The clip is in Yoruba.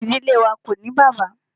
Ìdílé wá ko ní bàbá.